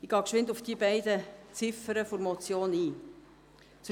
Ich gehe kurz auf die beiden Ziffern der Motion ein.